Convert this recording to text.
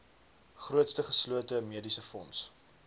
grootste geslote mediesefonds